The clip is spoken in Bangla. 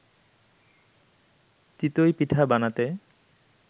চিতই পিঠা বানাতে